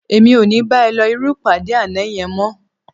Èmi ò ní bá ẹ lọ irú ìpàdé àná yẹn mọ́